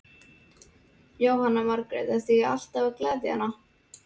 Jóhanna Margrét: Ertu ekki alltaf að gleðja hana?